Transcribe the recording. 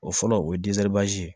O fɔlɔ o ye ye